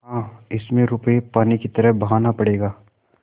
हाँ इसमें रुपये पानी की तरह बहाना पड़ेगा